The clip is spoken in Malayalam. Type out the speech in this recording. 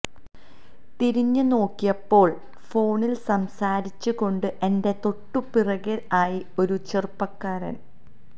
തിരിഞ്ഞ് നോക്കിയപ്പോള് ഫോണില് സംസാരിച്ച് കൊണ്ട് എന്റെ തൊട്ടുപിറകെ ആയി ഒരു ചെറുപ്പക്കാരന്